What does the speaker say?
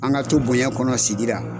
An ka to bonɲɛ kɔnɔ sigi la.